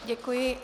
Děkuji.